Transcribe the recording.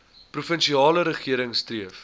provinsiale regering streef